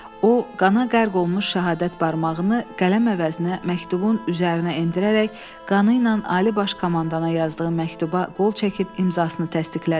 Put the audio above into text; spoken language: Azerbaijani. O, qana qərq olmuş şəhadət barmağını qələm əvəzinə məktubun üzərinə endirərək qanı ilə ali baş komandana yazdığı məktuba qol çəkib imzasını təsdiqlədi.